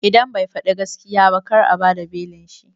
Idan bai faɗi gaskiya ba kar a bada belin shi